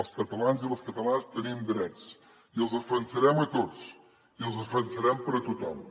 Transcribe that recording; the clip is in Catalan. els catalans i les catalanes tenim drets i els defensarem a tots i els defensarem per a tothom